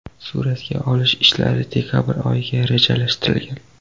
Suratga olish ishlari dekabr oyiga rejalashtirilgan.